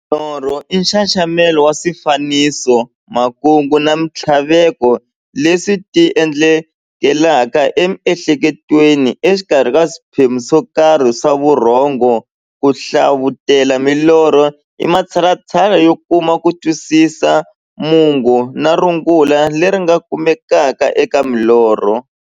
Norho i nxaxamelo wa swifaniso, makungu na minthlaveko leswi ti endlekelaka e mi'hleketweni exikarhi ka swiphemu swokarhi swa vurhongo. Ku hlavutela milorho i matshalatshala yo kuma kutwisisa mungo na rungula leri nga kumekaka eka milorho.